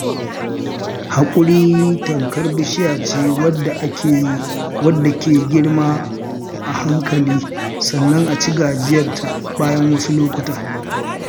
Haƙuri tamkar bishiya ce wadda ke girma a hankali, sannan aci gajiyarta bayan wasu lokuta